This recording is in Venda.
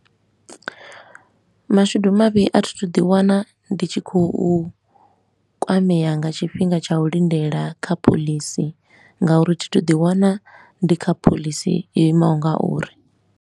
Mashudu mavhi a thi thu ḓi wana ndi tshi khou kwamea nga tshifhinga tsha u lindela kha phoḽisi nga uri thi thu ḓi wana ndi kha phoḽisi yo imaho nga uri.